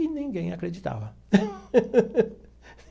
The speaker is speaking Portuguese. E ninguém acreditava.